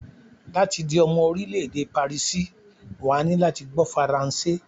Láti di omo orílé èdè pàríìsì, wà á ní láti gbó faransé.